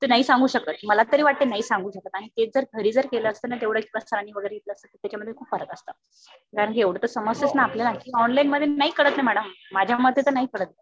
ते नाही सांगू शकत. मला तरी वाटते नाही सांगू शकत आणि हेच जर घरी जर केलं असत ना तेवढंच सरांनी घेतलं असत ना त्याच्यामध्ये खुप फरक असता. कारण कि एवढं तर समजतेच ना आपल्याला. ऑनलाईन मध्ये नाही कळत ना मॅडम. माझ्या मते तर नाही कळत.